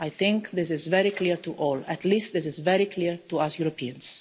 I think this is very clear to all at least this is very clear to us Europeans.